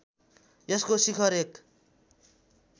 यसको शिखर एक